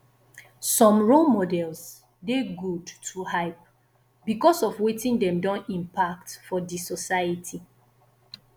some role models de good to hype because of wetin dem don impact for di society